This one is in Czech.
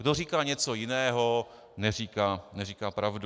Kdo říká něco jiného, neříká pravdu.